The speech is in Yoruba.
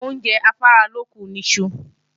Oúnjẹ afáralókun ni iṣu